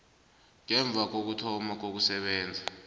ngemva kokuthoma kokusebenza